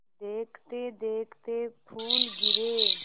देखते देखते फूल गिरे